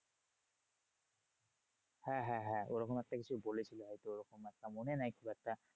হ্যাঁ হ্যাঁ হ্যাঁ ওরকম একটা কিছু বলেছিলো হয়তো ওরকম একটা মনে নেই খুব একটা।